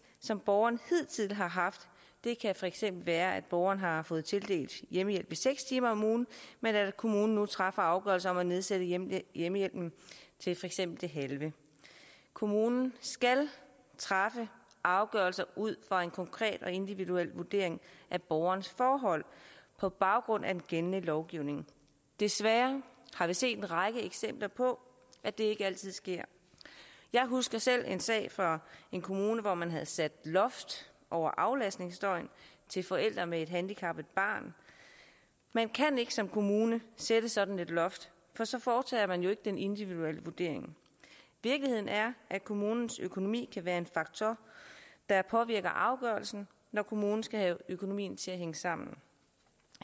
som borgeren hidtil har haft det kan for eksempel være at borgeren har fået tildelt hjemmehjælp i seks timer om ugen men at kommunen nu træffer afgørelse om at nedsætte hjemmehjælpen til for eksempel det halve kommunen skal træffe afgørelse ud fra en konkret og individuel vurdering af borgerens forhold på baggrund af den gældende lovgivning desværre har vi set en række eksempler på at det ikke altid sker jeg husker selv en sag fra en kommune hvor man havde sat loft over aflastningsdøgn til forældre med et handicappet barn man kan ikke som kommune sætte sådan et loft for så foretager man jo ikke den individuelle vurdering virkeligheden er at kommunens økonomi kan være en faktor der påvirker afgørelsen når kommunen skal have økonomien til at hænge sammen